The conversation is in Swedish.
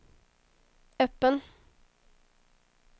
öppen